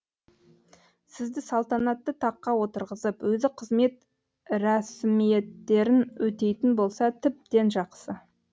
сізді салтанатты таққа отырғызып өзі қызмет рәсімиеттерін өтейтін болса тіптен жақсы